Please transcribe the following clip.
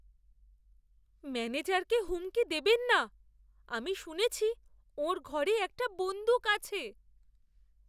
ম্যানেজারকে হুমকি দেবেন না। আমি শুনেছি ওঁর ঘরে একটা বন্দুক আছে।